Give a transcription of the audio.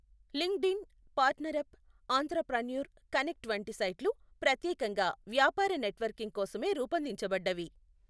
LinkedIn, PartnerUp, Entrepreneur Connect వంటి సైట్లు ప్రత్యేకంగా వ్యాపార నెట్వర్కింగ్ కోసమే రూపొందించబడ్డవి.